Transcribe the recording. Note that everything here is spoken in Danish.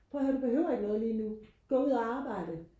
prøv og hør du behøver ikke noget lige nu gå ud og arbejde